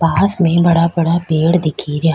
पास में बड़ा बड़ा पेड़ दिख रिया।